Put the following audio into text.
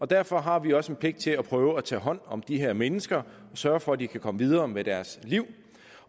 derfor har vi også en pligt til at prøve at tage hånd om de her mennesker og sørge for at de kan komme videre med deres liv